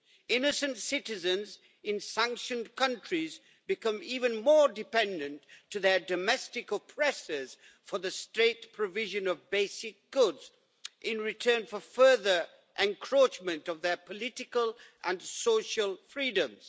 Innocent citizens in sanctioned countries become even more dependent on their domestic oppressors for the straight provision of basic goods in return for further encroachment on their political and social freedoms.